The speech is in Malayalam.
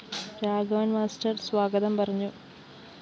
രാഘവന്‍ മാസ്റ്റർ സ്വാഗതം പറഞ്ഞു